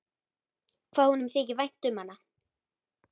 Hvað honum þykir vænt um hana!